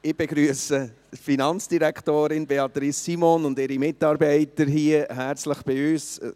Ich begrüsse die Finanzdirektorin Beatrice Simon und ihre Mitarbeiter herzlich hier bei uns.